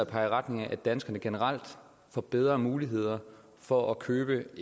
peger i retning af at danskerne generelt får bedre muligheder for at købe